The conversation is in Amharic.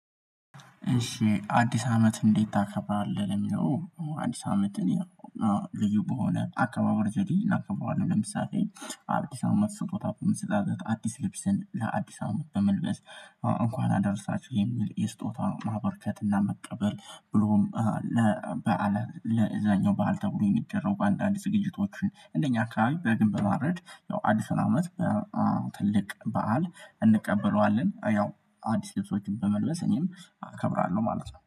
እሺ አዲስ አመት እንዴት ታከብራለች? ለሚለው አዲስ አመት እኔ ልዩ በሆነ አካባበር ዘዴ እናክበረዋለን ለምሳሌ አዲስ አመት ስጦታ በመሰጣጠት አዲስ ልብስን ለአዲስ አመት በመልበስ እንኳን አደርሳችሁ የሚል የስጦታ ማበርከት እና መቀበል ብሎም ለዛኛው በዓል ተብሎ የሚደረጉ አንዳንድ ዝግጅቶችን እንደኛ አካባቢ በግን በማረድ ያው አዲስ አመት ትልቅ በዓል እንቀበለዋለን ያው አዲስ ልብሶችን በመልበስ እኔም እከብራለሁ ማለት ነው